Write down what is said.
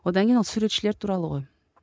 одан кейін ол суретшілер туралы ғой